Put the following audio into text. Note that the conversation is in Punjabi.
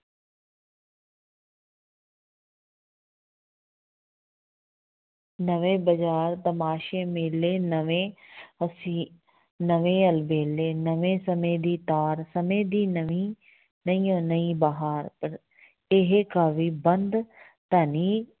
ਨਵੇਂ ਬਜ਼ਾਰ, ਤਮਾਸ਼ੇ, ਮੇਲੇ, ਨਵੇਂ ਹੁਸੀ, ਨਵੇਂ ਅਲਬੇਲੇ, ਨਵੀਂ ਸਮੇਂ ਦੀ ਤਾਰ, ਸਮੇਂ ਦੀ ਨਵੀਂ ਨਵੀਓਂ ਨਵੀਂ ਬਹਾਰ ਇਹ ਕਾਵਿ ਬੰਧ ਧਨੀ